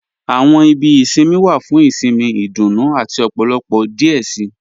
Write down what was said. Àwọn ìbí ìṣinmí wa fún ìṣinmí, ìdúnú àti ọ̀pọ̀lọpọ̀ díẹ̀ sí.